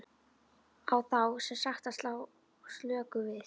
Á þá sem sagt að slá slöku við?